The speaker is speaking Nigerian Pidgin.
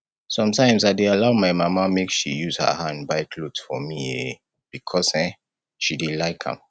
sometimes i dey allow my mama make she use her hand buy cloth for me um because um she dey like am